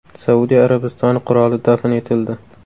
Saudiya Arabistoni qiroli dafn etildi.